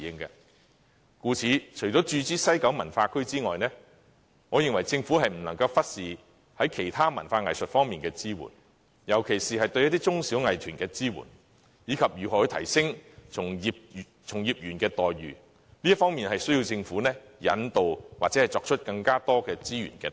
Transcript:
因此，除了注資西九文化區外，我認為政府亦不能忽視在其他文化藝術方面的支援，特別是對中小藝團的支援，以及從業員待遇的提升，都需要政府引導或投入更多資源。